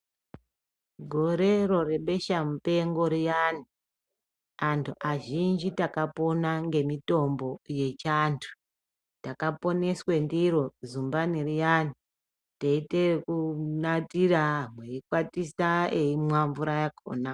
Gorero rebesha mupengo riyani antu azhinji takapona ngemitombo yechiandu takaponeswe ndiro zumbani riyani teyiite ekunatira eyikwatisa eyimwa mvura yakona.